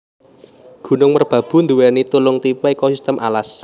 Gunung Merbabu nduwéni telung tipe ekosistem alas